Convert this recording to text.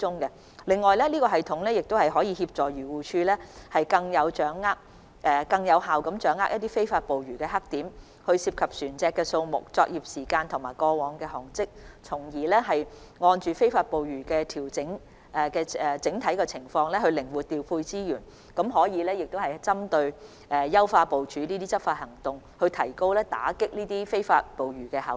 此外，這系統亦可協助漁護署更有效掌握非法捕魚黑點、涉及船隻數目、作業時間，以及過往航跡，從而就非法捕魚的整體情況靈活調配資源，更可作出針對性的執法行動部署，提高打擊非法捕魚的效率。